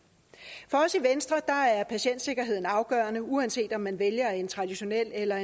for os i venstre er patientsikkerheden afgørende uanset om man vælger en traditionel eller